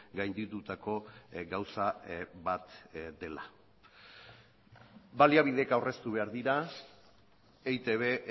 gainditutako gauza bat dela baliabideek aurreztu behar dira eitb